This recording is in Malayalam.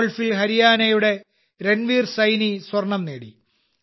ഗോൾഫിൽ ഹരിയാനയുടെ രൺവീർസൈനി സ്വർണം നേടി